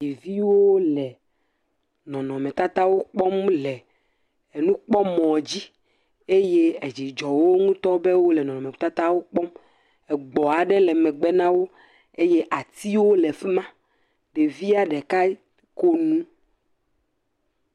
Ɖeviwo le nɔnɔmetatawo kpɔm le enukpɔmɔɔ dzi. Eye edzidzɔwo ŋutɔ bɔ wole nɔnɔmetatawo kpɔm. Egbɔ̃ aɖe le megbe na wo eye atiwo le fi ma. ɖevia ɖeka ko nu